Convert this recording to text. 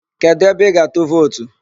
Kedụ ebe ị ga-atụ vootu?